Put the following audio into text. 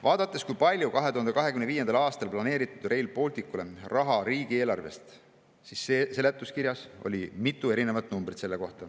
Vaadates, kui palju on 2025. aastaks planeeritud Rail Balticule raha riigieelarvest, seletuskirjas oli selle kohta mitu erinevat numbrit.